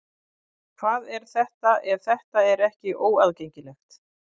Hvað er þetta ef þetta er ekki óaðgengilegt?